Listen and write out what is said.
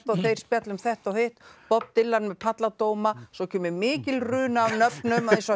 og þeir spjalla um þetta og hitt bob Dylan með palladóma svo kemur mikil runa af nöfnum eins og